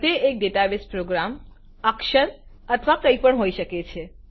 તે એક ડેટાબેસપ્રોગ્રામ અક્ક્ષ્રર અથવા કઈપણ હોઈ શકે છે